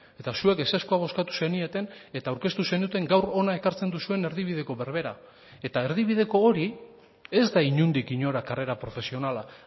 eta zuek ezezkoa bozkatu zenieten eta aurkeztu zenuten gaur hona ekartzen duzuen erdibideko berbera eta erdibideko hori ez da inondik inora karrera profesionala